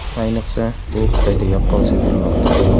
Ayniqsa, bu Xitoyda yaqqol sezilmoqda.